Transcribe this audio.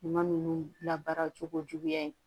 Ɲuman ninnu labaara cogo juguya ye